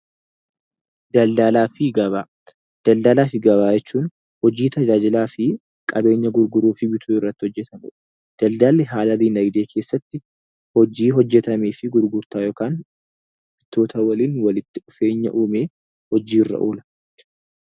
Daldalaa fi gabaa Daldalaa fi gabaa jechuun hojii tajaajila fi qabeenya gurguruu fi bituu irratti hojjetamudha. Daldalli haala dinaagdee keessatti hojii hojjetamee fi gurgurtaa yookaan daldaltoota waliin walitti dhufeenya uumee hojii irra oola.